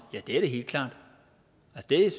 det er